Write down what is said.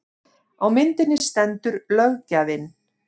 Á myndinni stendur löggjafinn